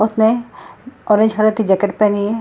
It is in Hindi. उतने ऑरेंज हलर की जैकेट पहनी है।